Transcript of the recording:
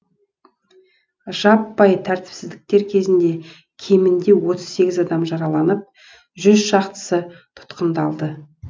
жаппай тәртіпсіздіктер кезінде кемінде отыз сегіз адам жараланып жүз шақтысы тұтқындалды